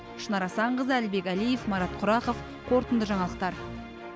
шынар асанқызы әлібек әлиев марат құрақов қорытынды жаңалықтар